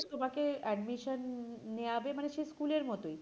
তোমাকে admission নেওয়াবে মানে সেই school এর মতই